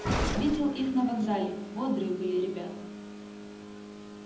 видел их на вокзале бодрые были ребята